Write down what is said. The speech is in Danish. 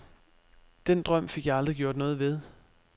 Den drøm fik jeg aldrig gjort noget ved.